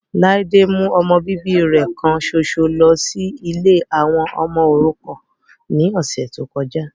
Ladé mú ọmọ bíbí rẹ kan ṣoṣo lọ sí ilé àwọn ọmọ òrukàn ní ọ̀sẹ̀ tí ó kọjá